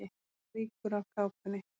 Það rýkur af kápunni.